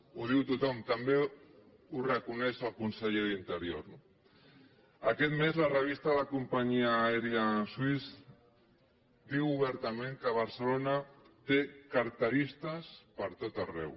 ho diu tothom també ho reconeix el conseller d’interior no aquest mes la revista de la companyia aèria swiss diu obertament que barcelona té carteristes pertot arreu